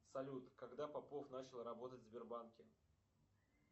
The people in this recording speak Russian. салют когда попов начал работать в сбербанке